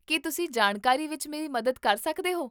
ਕੀ ਤੁਸੀਂ ਜਾਣਕਾਰੀ ਵਿੱਚ ਮੇਰੀ ਮਦਦ ਕਰ ਸਕਦੇ ਹੋ?